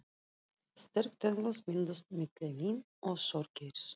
Sterk tengsl mynduðust milli mín og Þorgeirs.